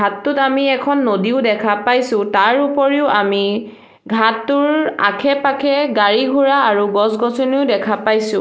ঘাটটোত আমি এখন নদীও দেখা পাইছোঁ তাৰ উপৰিও আমি ঘাটটোৰ আখে-পাখে গাড়ী-ঘোঁৰা আৰু গছ-গছনিও দেখা পাইছোঁ।